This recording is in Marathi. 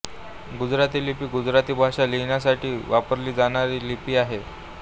गुजराती लिपी गुजराती भाषा लिहिण्यासाठी वापरली जाणारी लिपी आहे